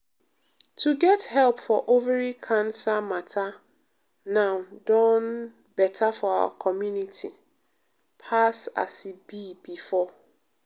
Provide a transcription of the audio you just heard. to get help for ovary cancer matter now don um better for our community um pass um as e be before.